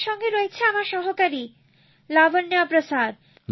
আমার সঙ্গে রয়েছে আমার সহকারি লাবণ্য প্রসাদ